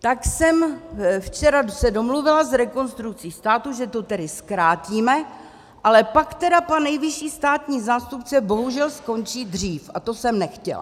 Tak jsem se včera domluvila s Rekonstrukcí státu, že to tedy zkrátíme, ale pak tedy pan nejvyšší státní zástupce bohužel skončí dřív a to jsem nechtěla.